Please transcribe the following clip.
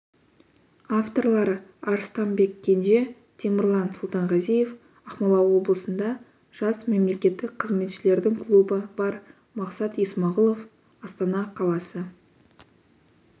авторлары арыстанбек кенже темірлан сұлтанғазиев ақмола облысында жас мемлекеттік қызметшілердің клубы бар мақсат есмағұлов астана қаласы